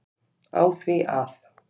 á því að